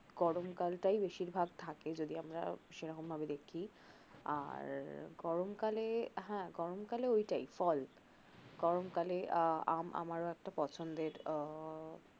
গরমকালটাই বেশিরভাগ থাকে যদি আমরা সেরকম ভাবে দেখি আর গরমকালে হ্যা গরমকালে ঐটাই ফল গরমকালে আহ আম আমার ও একটা পছন্দের আহ